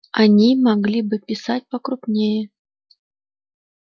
они могли бы писать покрупнее